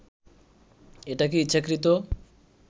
এটা কি ইচ্ছাকৃত